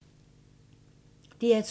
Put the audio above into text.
DR2